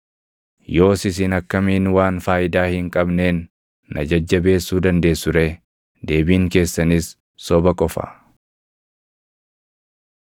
“Yoos isin akkamiin waan faayidaa hin qabneen // na jajjabeessuu dandeessu ree? Deebiin keessanis soba qofa!”